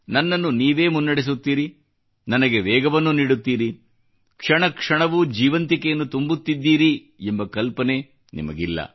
ನನ್ನನ್ನು ನೀವೇ ಮುನ್ನಡೆಸುತ್ತೀರಿ ನನಗೆ ವೇಗವನ್ನು ನೀಡುತ್ತೀರಿ ಕ್ಷಣ ಕ್ಷಣವೂ ಜೀವಂತಿಕೆಯನ್ನು ತುಂಬುತ್ತಿದ್ದೀರಿ ಎಂಬ ಕಲ್ಪನೆ ನಿಮಗಿಲ್ಲ